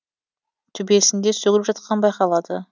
төбесін де сөгіліп жатқаны байқалады